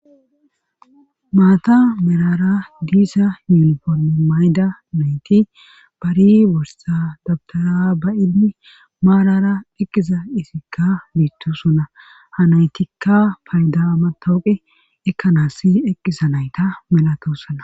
maata merara diiza yuunifomi mayda nayti bari borsa dabtara bayinni maarara eqqiza isikka biittu suna ha naytikka payda matooqe ekkanaasi eqqixa nayta melatosona